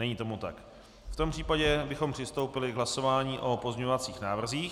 Není tomu tak, v tom případě bychom přistoupili k hlasování o pozměňovacích návrzích.